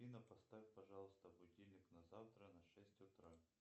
афина поставь пожалуйста будильник на завтра на шесть утра